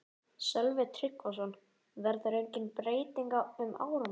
Sölvi Tryggvason: Verður engin breyting um áramótin?